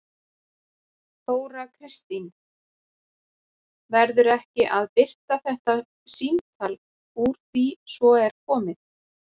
Þóra Kristín: Verður ekki að birta þetta símtal úr því svona er komið?